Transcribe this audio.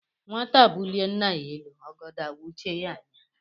Nwata bulie nna ya elu, ọgọdọ awuchie yá anya